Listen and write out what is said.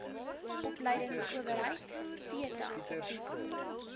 opleidingsowerheid theta bied